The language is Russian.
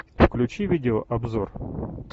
включи видеообзор